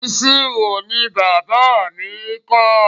Ìṣirò ni bàbá mi kà.